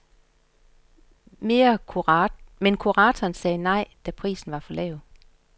Men kurator sagde nej, da prisen var for lav.